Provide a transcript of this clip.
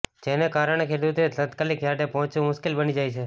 જેના કારણે ખેડૂતોએ તાત્કાલિક યાર્ડે પહોંચવુ મુશ્કેલ બની જાય છે